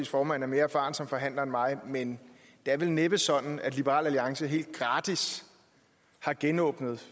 formand er mere erfaren som forhandler end mig men det er vel næppe sådan at liberal alliance helt gratis har genåbnet